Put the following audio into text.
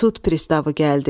Sud pristavı gəldi.